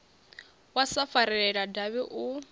wa sa farelela davhi u